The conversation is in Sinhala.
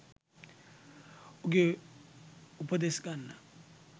උගේ උපදෙස් ගන්න